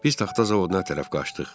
Biz taxta zavoduna tərəf qaçdıq.